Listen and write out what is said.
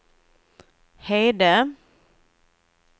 Hede